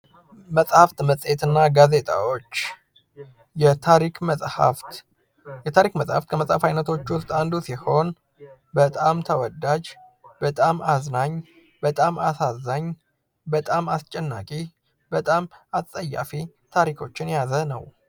መጻሕፍት መጽሔት እና ጋዜጣዎች የታሪክ መጻሕፍት የታሪክ መጽሐፍ በመጻፍ ዓይነቶች ውስጥ አንዱ ሲሆን ፤በጣም ተወዳጅ ፣በጣም አዝናኝ ፣በጣም አሳዛኝ ፣በጣም አስጨናቂ፣ በጣም አጸያፊ ታሪኮችን የያዘ ነው።